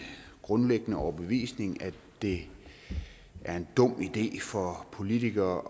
grundlæggende overbevisning at det er en dum idé for politikere